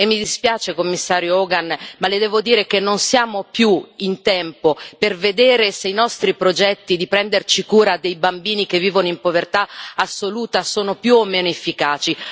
Mi dispiace, Commissario Hogan, ma le devo dire che non siamo più in tempo per vedere se i nostri progetti di prenderci cura dei bambini che vivono in povertà assoluta sono più o meno efficaci.